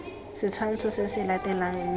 setshwantsho se se latelang mme